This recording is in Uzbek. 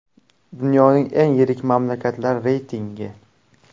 Dunyoning eng yirik mamlakatlari reytingi.